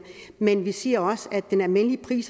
men vi siger også at den almindelige